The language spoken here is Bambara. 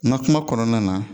N ka kuma kɔnɔna na